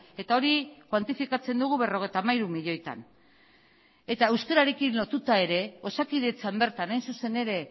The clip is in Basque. eta hori kuantifikatzen dugu berrogeita hamairu milioietan eta euskararekin lotuta ere osakidetzan bertan hain zuzen ere